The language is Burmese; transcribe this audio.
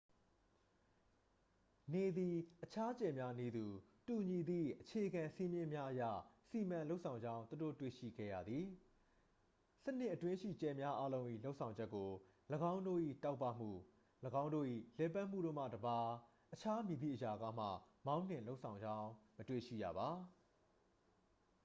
နေသည် အခြားကြယ်များနည်းတူ တူညီသည့် အခြေခံစည်းမျဉ်းများအရ စီမံလုပ်ဆောင်ကြောင်း သူတို့ တွေ့ရှိခဲ့ရသည် စနစ်အတွင်းရှိ ကြယ်များအားလုံး၏ လုပ်ဆောင်ချက်ကို ၎င်းတို့၏ တောက်ပမှု ၎င်းတို့၏ လှည့်ပတ်မှုတို့မှတစ်ပါး အခြားမည်သည့်အရာကမှ မောင်းနှင်လုပ်ဆောင်ကြောင်း မတွေ့ရှိရပေ